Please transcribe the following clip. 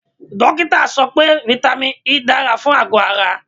Dókítà sọ pé vitamin E dára fún àgọ̀ ara.